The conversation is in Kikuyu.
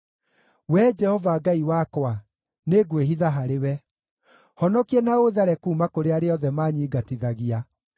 Wee Jehova Ngai wakwa, nĩngwĩhitha harĩwe; honokia na ũũthare kuuma kũrĩ arĩa othe manyingatithagia,